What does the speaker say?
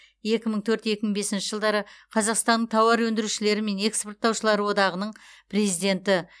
екі мың төрт екі мың бесінші жылдары қазақстанның тауар өндірушілері мен экспорттаушылары одағының президенті